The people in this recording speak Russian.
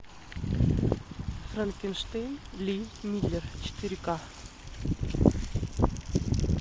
франкенштейн ли миллер четыре ка